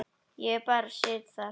Ég bara sit þar.